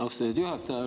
Austatud juhataja!